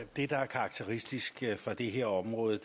karakteristisk for det her område